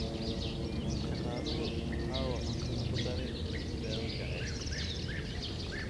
Shaqaaluhu waxa uu cuntada ku daray dawo jacayl